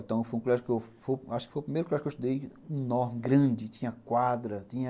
Então, foi um colégio que eu, acho que foi o primeiro clássico que eu estudei enorme, grande, tinha quadra, tinha...